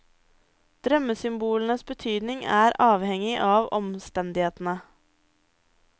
Drømmesymbolenes betydning er avhengig av omstendighetene.